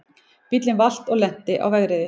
Bíllinn valt og lenti á vegriði